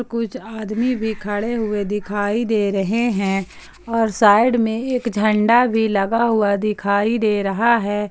और कुछ आदमी भी खड़े हुए दिखाई दे रहे हैं और साइड में एक झंडा भी लगा हुआ दिखाई दे रहा है।